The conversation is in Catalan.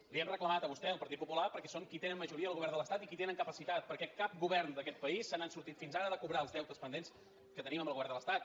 li ho hem reclamat a vostè al partit popular perquè són els qui tenen majoria al govern de l’estat i els qui en tenen capacitat perquè cap govern d’aquest país se n’ha sortit fins ara de cobrar els deutes pendents que tenim amb el govern de l’estat